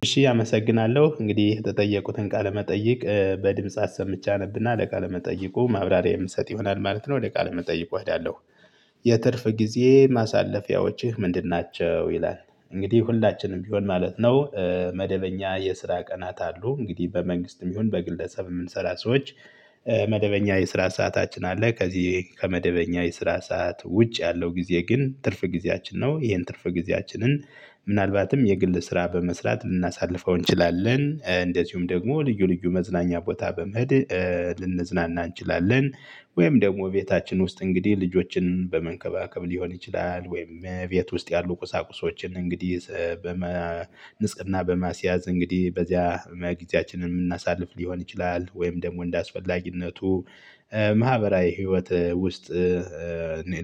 እሺ አመሰግናለሁ እንግዲህ የተጠየኩትን ቃለ መጠይቅ በድምጽ አሰምቼ አነብና ለቃለ መጠይቁ ማብራሪያ የምሰጥ ይሆናል ማለት ነው ወደ ቃል መጠይቁ እሄዳለሁ። የትርፍ ጊዜ ማሳለፊያዎችህ ምንድን ናቸው? ይላል እንግዲህ ሁላችንም ቢሆን ማለት ነው። መደበኛ የስራ ቀናት አሉ እንግዲህ በመንግስትም ይሁን በግለሰብ እምንሰራ ሰዎች። መደበኛ የስራ ሰዓታችን አለ ከዚህ ከመደበኛ የስራ ሰዓት ውጭ ያለው ጊዜ ግን ትርፍ ጊዜያችን ነው። ይሄን ትርፍ ጊዜያችንን ምናልባትም የግል ስራ በመስራት ልናሳልፈው እንችላለን። እንደዚሁም ደግሞ ልዩ ልዩ መዝናኛ ቦታ በመድ ልንዝናና እንችላለን። ወይም ደግሞ ቤታችን ውስጥ እንግዲህ ልጆችን በመንከባከብ ሊሆን ይችላል ወይም እቤት ውስጥ ያሉ ቁሳቁሶችን እንግዲህ ንስቅና በማስያዝ እንግዲህ በዚያ ጊዜያችንን እምናሳልፍ ሊሆን ይችላል። ወይም ደሞ እንደ አስፈላጊነቱ ማህበራዊ ህይወት ውስጥ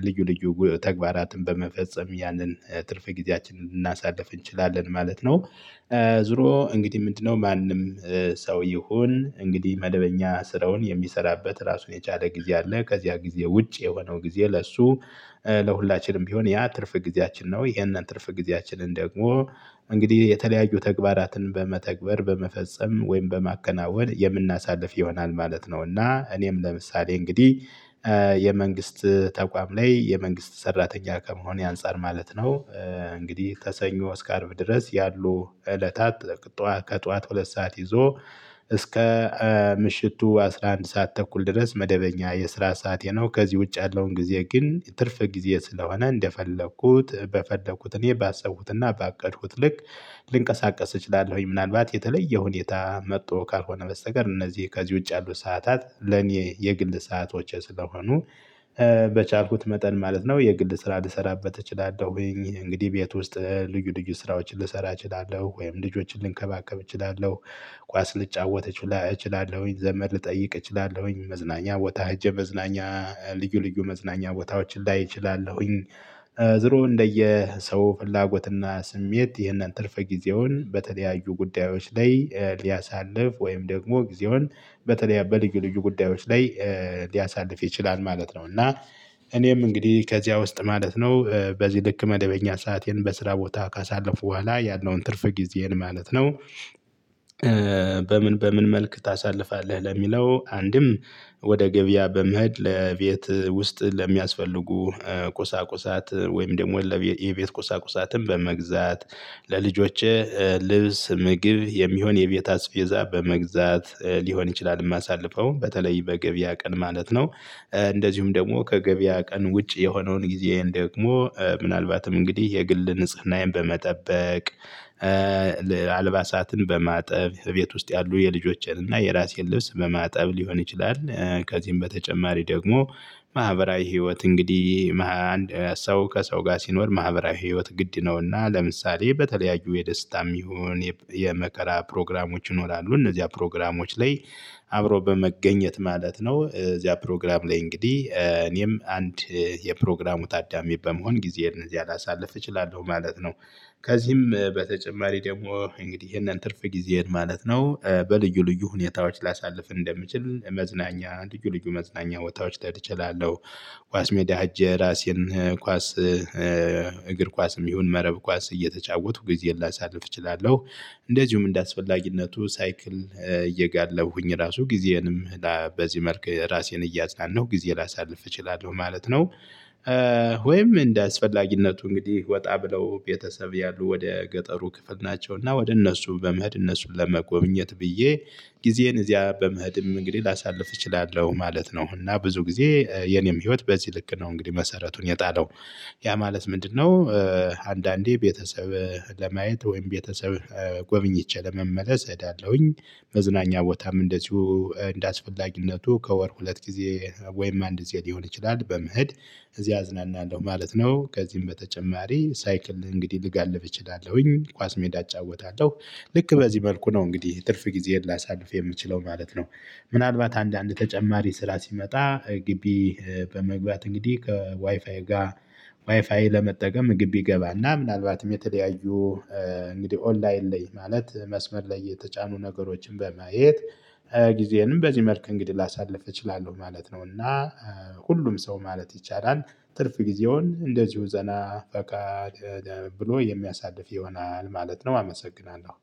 ልዩ ልዩ ተግባራትን በመፈጸም ያንን ትርፍ ጊዜያችንን ልናሳልፍ እንችላለን ማለት ነው። ዙሮ እንግዲህ ምንድነው ማንም ሰው ይሁን እንግዲህ መደበኛ ስራውን የሚሰራበት ራሱን የቻለ ጊዜ አለ። ከዚያ ጊዜ ውጪ የሆነው ጊዜ ለሱ ለሁላችንም ቢሆን ያ ትርፍ ጊዜያችን ነው። ይሄንን ትርፍ ጊዜያችንን ደግሞ እንግዲህ የተለያዩ ተግባራትን በመተግበር በመፈጸም ወይም በማከናወን የምናሳልፍ ይሆናል ማለት ነው። እና እኔም ለምሳሌ እንግዲህ የመንግስት ተቋም ላይ የመንግስት ሰራተኛ ከመሆኔ አንፃር ማለት ነው። እንግዲህ ከሰኞ እስከ አርብ ድረስ ያሉ እለታት ከጧቱ ሁለት ሰዓት ይዞ እስከ ምሽቱ አስራ አንድ ሰዓት ተኩል ድረስ መደበኛ የስራ ሰዓቴ ነው። ከዚህ ውጭ ያለውን ጊዜ ግን ትርፍ ጊዜ ስለሆነ እንደፈለኩት በፈለኩት እኔ ባሰቡትና ባቀድኩት ልክ ልንቀሳቀስ እችላለሁኝ። ምናልባት የተለየ ሁኔታ መጥቶ ካልሆነ በስተቀር እነዚህ ከዚህ ውጪ ያሉት ሰዓታት ለኔ የግል ሰዓቶቼ ስለሆኑ በቻልኩት መጠን ማለት ነው የግል ስራ ልሰራበት እችላለሁ። እንግዲህ ቤት ውስጥ ልዩ ልዩ ስራዎችን ልሰራ እችላለሁ ወይም ልጆችን ልንከባከብ እችላለሁ። ኳስ ልጫወት እችላለሁኝ ዘመድ ልጠይቅ እችላለሁኝ መዝናኛ ቦታ ሄጀ መዝናኛ ልዩ ልዩ መዝናኛ ቦታዎች ላይ እችላለሁኝ። ዝሮ እንደየ ሰው ፍላጎትና ስሜት ይህንን ትርፍ ጊዜውን በተለያዩ ጉዳዮች ላይ ሊያሳልፍ ወይም ደግሞ ጊዜውን በልዩ ልዩ ጉዳዮች ላይ ሊያሳልፍ ይችላል ማለት ነው። እና እኔም እንግዲህ ከዚያ ውስጥ ማለት ነው በዚህ ልክ መደበኛ ሰአቴን በስራ ቦታ ካሳለፍኩ ቡሃላ ያለውን ትርፍ ጊዜን ማለት ነው። በምን በምን መልክ ታሳልፋለህ? ለሚለው አንድም ወደ ገቢያ በመሄድ ለቤት ውስጥ ለሚያስፈልጉ ቁሳቁሳት ወይም ደግሞ የቤት ቁሳቁሳትን በመግዛት ለልጆቼ ልብስ ምግብ የሚሆን የቤት አስቤዛ በመግዛት ሊሆን ይችላል። እማሳልፈው በተለይ በገቢያ ቀን ማለት ነው። እንደዚሁም ደግሞ ከገቢያ ቀን ውጪ የሆነውን ጊዜየን ደግሞ ምናልባትም እንግዲህ የግል ንጽህናዬን በመጠበቅ አልባሳትን በማጠብ እቤት ውስጥ ያሉ የልጆቼንና የእራሴን ልብስ በማጠብ ሊሆን ይችላል። ከዚህም በተጨማሪ ደግሞ ማህበራዊ ህይወት እንግዲህ አንድ ሰው ከሰው ጋር ሲኖር ማህበራዊ ህይወት ግድ ነውና ለምሳሌ በተለያዩ የደስታም ይሁን የመከራ ፕሮግራሞች ይኖራሉ እነዚያ ፕሮግራሞች ላይ አብሮ በመገኘት ማለት ነው። እዚያ ፕሮግራም ላይ እንግዲህ እኔም አንድ የፕሮግራሙ ታዳሚ በመሆን ጊዜዬን እንደዚህ አላሳልፍ እችላለሁ ማለት ነው። ከዚህም በተጨማሪ ደሞ እንግዲህ ይሄንን ትርፍ ጊዜዬን ማለት ነው። በልዩ ልዩ ሁኔታዎች ላሳልፍ እንደምችል መዝናኛ ልዩ ልዩ መዝናኛ ቦታዎች ልሄድ እችላለሁ። ኳስ ሜዳ ሄጄ ራሴን ኳስ እግር ኳስም ይሁን መረብ ኳስ እየተቻወቱ ጊዜን ላሳልፍ እችላለሁ። እንደዚሁም እንደአስፈላጊነቱ ሳይክል እየጋለብኩኝ ራሱ ጊዜንም በዚህ መልክ ራሴን እያዝናናሁ ጊዜ ላሳልፍ እችላለሁ ማለት ነው። ወይም እንደ አስፈላጊነቱ እንግዲህ ወጣ ብለው ቤተሰብ ያሉ ወደ ገጠሩ ክፍል ናቸው እና ወደ እነሱ በመህድ እነሱን ለመጎብኘት ብዬ ጊዜን እዚያ በምሄድም እንግዲህ ላሳልፍ እችላለሁ ማለት ነው። እና ብዙ ጊዜ የኔም ህይወት በዚህ ልክ ነው። እንግዲህ መሰረቱን የጣለው ያ ማለት ምንድነው? አንዳንዴ ቤተሰብ ለማየት ወይም ቤተሰብ ጎብኝቼ ለመመለስ እሄዳለሁኝ። መዝናኛ ቦታም እንደዚሁ እንደአስፈላጊነቱ ከወር ሁለት ጊዜ ወይም አንድ ጊዜ ሊሆን ይችላል በመሄድ እዚህ አዝናናለሁ ማለት ነው። ከዚህም በተጨማሪ ሳይክል እንግዲህ ልጋልብ እችላለሁኝ ኳስ ሜዳ አጫወታለሁ። ልክ በዚህ መልኩ ነው እንግዲህ ትርፍ ጊዜህን ላሳልፍ የምችለው ማለት ነው። ምናልባት አንዳንድ ተጨማሪ ስራ ሲመጣ ግቢ በመግባት እንግዲህ ከዋይፋይ ጋር ዋይፋይ ለመጠቀም ግቢ እገባና ምናልባትም የተለያዩ እንግዲህ ኦንላይን ላይ ማለት መስመር ላይ የተጫኑ ነገሮችን በማየት ጊዜዬንም በዚህ መልክ እንግዲህ ላሳልፍ እችላለሁ ማለት ነው። እና ሁሉም ሰው ማለት ይቻላል ትርፍ ጊዜውን እንደዚሁ ዘና ፈታ ብሎ የሚያሳድፍ ይሆናል ማለት ነው። አመሰግናለሁ